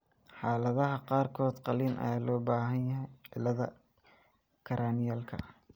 Xaaladaha qaarkood qalliin ayaa loo baahan yahay cilladda cranialka.